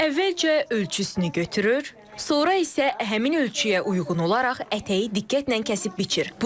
Əvvəlcə ölçüsünü götürür, sonra isə həmin ölçüyə uyğun olaraq ətəyi diqqətlə kəsib biçir.